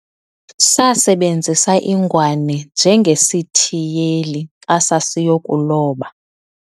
sasebenzisa ingwane njengesithiyeli xa sasiyokuloba